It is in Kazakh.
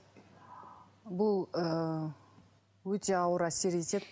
бұл ыыы өте ауыр әсер етеді